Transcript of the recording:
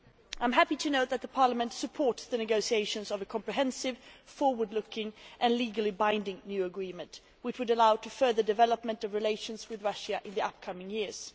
I am happy to note that the Parliament supports the negotiations of a comprehensive forward looking and legally binding new agreement which would allow furthering the development of relations with Russia in the upcoming years.